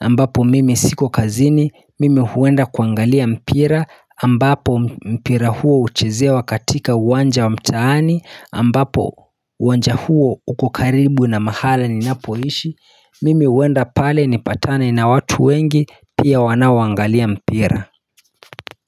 ambapo mimi siko kazini mimi huenda kuangalia mpira ambapo mpira huo uchezewa katika uwanja wa mtaani ambapo uwanja huo ukukaribu na mahala ni napoishi mimi huenda pale ni patane na watu wengi pia wanaowaangalia mpira.